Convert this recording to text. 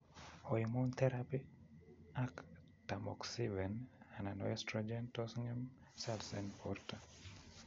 Hoemone therapy ak tamoxifen anan oestrogen tos ngem cells en borto